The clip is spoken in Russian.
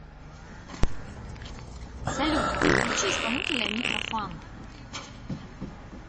салют включи исполнителя нитро фан